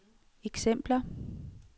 eksempler